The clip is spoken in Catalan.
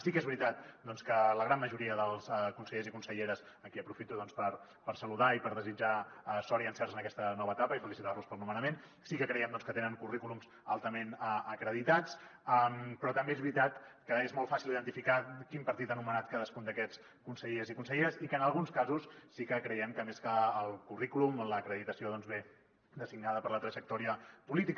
sí que és veritat doncs que la gran majoria dels consellers i conselleres a qui aprofito per saludar i per desitjar sort i encerts en aquesta nova etapa i felicitar los pel nomenament sí que creiem doncs que tenen currículums altament acreditats però també és veritat que és molt fàcil identificar quin partit ha nomenat cadascun d’aquests consellers i conselleres i que en alguns casos sí que creiem que més que el currículum l’acreditació doncs ve designada per la trajectòria política